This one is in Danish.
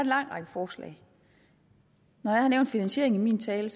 lang række forslag når jeg har nævnt finansieringen i min tale